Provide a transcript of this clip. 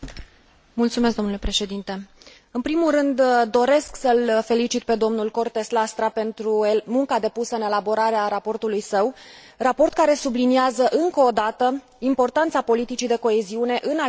În primul rând, doresc să l felicit pe domnul Cortés Lastra pentru munca depusă în elaborarea raportului său, raport care subliniază încă o dată importanța politicii de coeziune în atingerea obiectivelor Strategiei UE